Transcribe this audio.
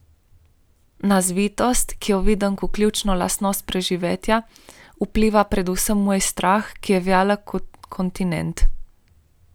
Na zvitost, ki jo vidim kot ključno lastnost preživetja, vpliva predvsem moj strah, ki je velik kot kontinent.